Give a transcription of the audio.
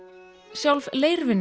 sjálf